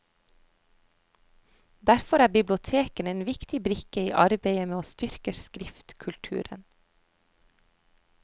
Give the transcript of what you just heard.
Derfor er bibliotekene en viktig brikke i arbeidet med å styrke skriftkulturen.